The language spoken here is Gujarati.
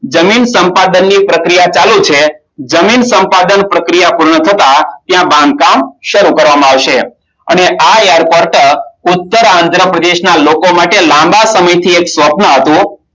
જમીન સંપાદનની પ્રક્રિયા ચાલુ છે જમીન સંપાદન પ્રક્રિયા પૂર્ણ થતા તેનું બાંધકામ સારું કરવામાં આવશે અને આ Airport ઉત્તરઆંદ્રપ્રદેશ નો લોકો માટે લાંબા સમયથી સ્વપ્ન હતું